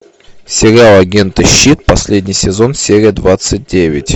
сериал агенты щит последний сезон серия двадцать девять